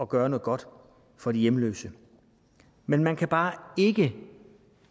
gøre noget godt for de hjemløse men man kan bare ikke